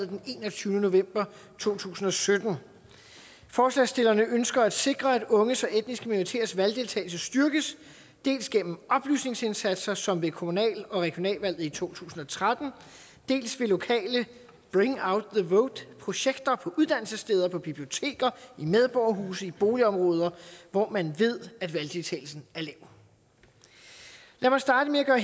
den enogtyvende november to tusind og sytten forslagsstillerne ønsker at sikre at unges og etniske minoriteters valgdeltagelse styrkes dels gennem oplysningsindsatser som ved kommunal og regionalvalget i to tusind og tretten dels ved lokale bring out the vote projekter på uddannelsessteder på biblioteker i medborgerhuse og i boligområder hvor man ved at valgdeltagelsen er lav lad mig starte med at